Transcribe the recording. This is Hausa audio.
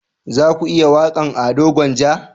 Za ku iya waƙan Ado gwanja?